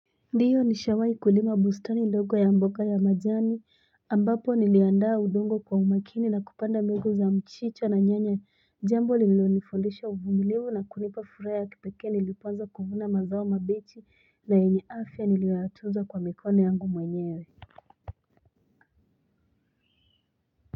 Ndiyo nishawai kulima bustani ndogo ya mboga ya majani ambapo niliandaa udongo kwa umakini na kupanda mbengu za mchicha na nyanya jambo lililonifundisha uvumilivu na kunipa furaha kipekee nilipoanza kuvuna mazao mabichi na yenye afya niliyoyatunza kwa mikono yangu mwenyewe.